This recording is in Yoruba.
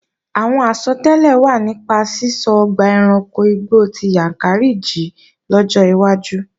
Àwọn àsọtẹ́lẹ̀ wà nípa sísọ ọgbà ẹranko igbó ti Yàǹkàrí jí lọ́jọ́ iwájú